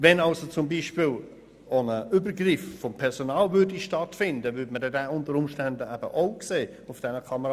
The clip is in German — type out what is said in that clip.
Würde zum Beispiel ein Übergriff des Personals stattfinden, würde dieser auf den Kamerabildern ebenfalls sichtbar.